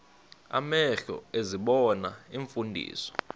amehlo ezibona iimfundiso